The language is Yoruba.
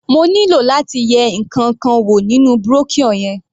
Mo nílò láti yẹ ǹkankan wò nínú brochure yẹn.